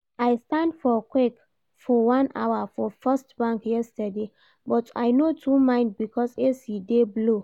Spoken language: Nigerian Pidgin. I stand for queue for one hour for First bank yesterday, but I no too mind because AC dey blow